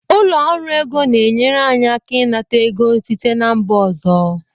Ụlọ ọrụ ego na-enyere anyị aka ịnata ego site na mba ọzọ